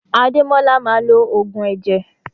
Ademola maa lo ogun eje.